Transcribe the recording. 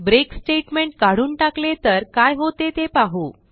break statement काढून टाकले तर काय होते ते पाहू